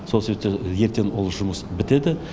сол себептен ертең ол жұмыс бітеді